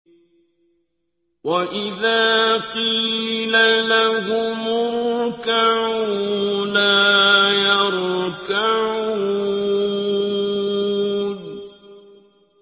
وَإِذَا قِيلَ لَهُمُ ارْكَعُوا لَا يَرْكَعُونَ